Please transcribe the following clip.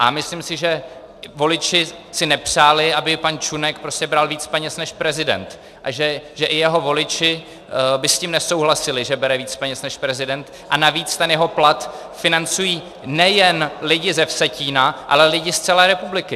A myslím si, že voliči si nepřáli, aby pan Čunek prostě bral víc peněz než prezident, a že i jeho voliči by s tím nesouhlasili, že bere víc peněz než prezident, a navíc ten jeho plat financují nejen lidi ze Vsetína, ale lidi z celé republiky.